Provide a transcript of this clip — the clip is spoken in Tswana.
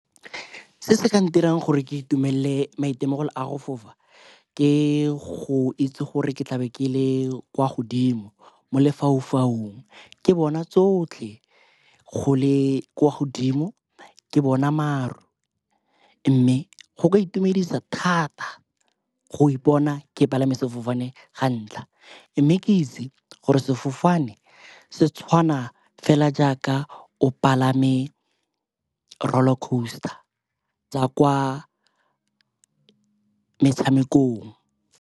Se se ka ntirang gore ke itumelele maitemogelo a go fofa ke go itse gore ke tlabe ke le kwa godimo mo lefaufaung. Ke bona tsotlhe, go le kwa godimo ke bona maru mme go ka itumedisa thata go ipona ke palame sefofane ga ntlha. Mme ke itse gore sefofane se tshwana fela jaaka o palame roller coaster tsa kwa metshamekong.